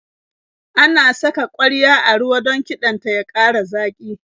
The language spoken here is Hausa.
Ana saka ƙwarya a ruwa don kiɗan ta ya ƙara zaƙi.